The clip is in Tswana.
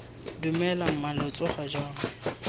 dumela mma lo tsoga jang